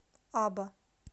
аба